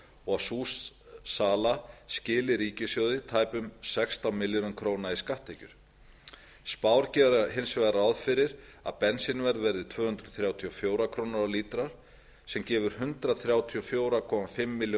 og að sú sala skili ríkissjóði tæpum sextán milljörðum króna í skatttekjur m spár gera hins vegar ráð fyrir að bensínverð verði tvö hundruð þrjátíu og fjórar krónur á lítra sem gefur hundrað þrjátíu og fjögur komma fimm